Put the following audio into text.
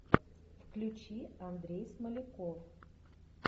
включи андрей смоляков